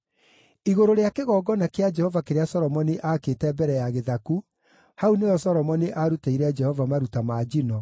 Igũrũ rĩa kĩgongona kĩa Jehova kĩrĩa Solomoni aakĩte mbere ya gĩthaku, hau nĩho Solomoni arutĩire Jehova maruta ma njino,